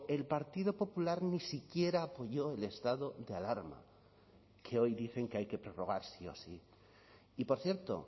el partido popular ni siquiera apoyó el estado de alarma que hoy dicen que hay que prorrogar sí o sí y por cierto